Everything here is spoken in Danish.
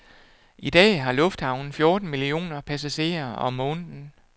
I dag har lufthavnen fjorten millioner passagerer om måneden.